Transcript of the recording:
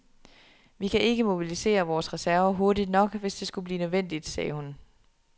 Vi kan ikke mobilisere vores reserver hurtigt nok, hvis det skulle blive nødvendigt, sagde hun.